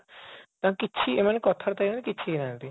ତାଙ୍କୁ କିଛି ଏମାନେ କଥା ବାର୍ତ୍ତା ହେଇନାହାନ୍ତି କି କିଛି ହେଇନାହାନ୍ତି